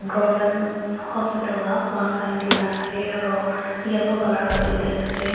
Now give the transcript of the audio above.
Ghor khan hospital la plus sign di na ase aro yellow colour la building ase.